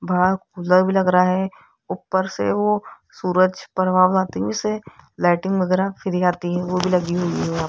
बाहर कूलर भी लग रहा है ऊपर से वो सूरज परभाव आती से लाइटिंग वगैरा फ्री आती है वो भी लगी हुई है वहां पे --